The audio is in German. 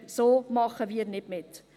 So machen wir nicht mit.